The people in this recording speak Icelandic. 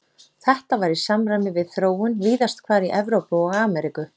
Þetta var í samræmi við þróun víðast hvar í Evrópu og Ameríku.